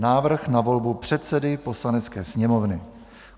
Návrh na volbu předsedy Poslanecké sněmovny